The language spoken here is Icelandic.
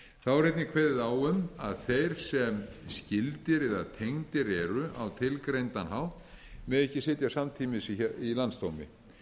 þá er einnig kveðið á um að þeir sem skyldir eða tengdir eru á tilgreindan hátt mega ekki sitja samtímis í landsdómi